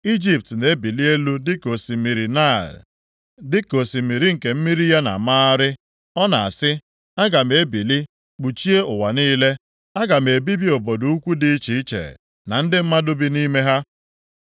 Ijipt na-ebili elu dịka osimiri Naịl, dịka osimiri nke mmiri ya na-amagharị. Ọ na-asị, ‘Aga m ebili kpuchie ụwa niile. Aga m ebibi obodo ukwu dị iche iche, na ndị mmadụ bi nʼime ha.’